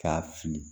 K'a fili